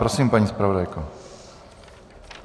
Prosím, paní zpravodajko.